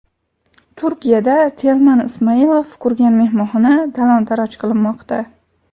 Turkiyada Telman Ismoilov qurgan mehmonxona talon-taroj qilinmoqda.